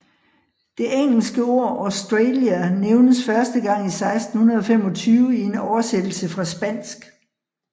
Det engelske ord Australia nævnes første gang i 1625 i en oversættelse fra spansk